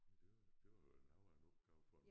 Ja det var det var vel noget af en opgave for en